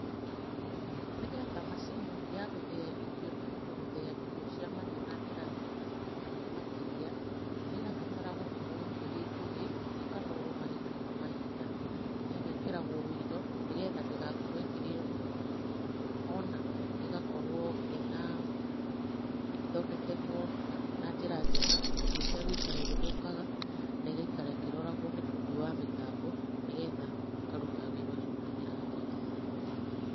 Nĩgetha macini ya gũthĩya irio ĩhote gũthĩya irio cia mahiũ na njĩra njega makĩria, nĩ ĩrabatara gũkorwo ĩrĩ njũgĩ, ĩkanorwo mahinda kwa mahinda, na ĩgekĩragwo ũiro, nĩgetha ndĩgakĩrĩo nĩ gutu, ona ĩgakorwo ĩna, ĩthondeketwo na njĩra njega, ũndũ ĩtegũikara ĩgĩthũkaga na ĩgaikara ĩkĩroragwo nĩ bundi wa mĩtambo, nĩgetha ĩkaruta wĩra ũcio na njĩra njega.